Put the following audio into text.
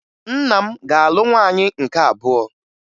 Nna m ga-alụ nwaanyị nke abụọ